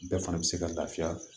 Bɛɛ fana bɛ se ka lafiya